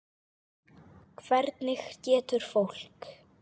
Hvernig getur fólk.